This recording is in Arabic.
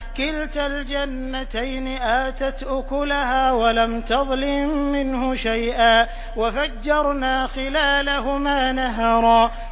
كِلْتَا الْجَنَّتَيْنِ آتَتْ أُكُلَهَا وَلَمْ تَظْلِم مِّنْهُ شَيْئًا ۚ وَفَجَّرْنَا خِلَالَهُمَا نَهَرًا